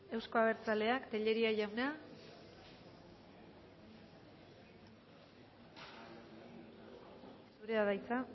euzko abertzaleak tellería jauna zurea da hitza